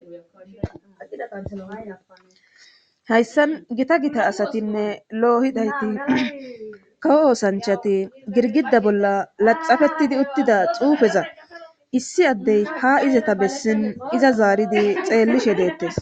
Hayssan gita gita asatinne loohidayti kawo oosanchati girgida bolla laxafetidi uttida xuufeza issi addey ha izata bessin iza zaaridi xeellishe deettes.